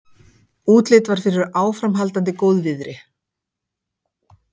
Útlit var fyrir áframhaldandi góðviðri.